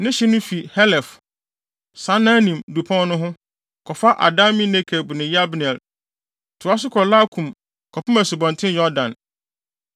Ne hye no fi Helef, Saananim dupɔn no ho, kɔfa Adami-Nekeb ne Yabneel, toa so kɔ Lakum kɔpem Asubɔnten Yordan.